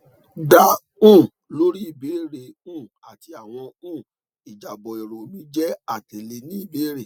da um lori ibeere rẹ um ati awọn um ijabọ ero mi jẹ atẹle ni ibere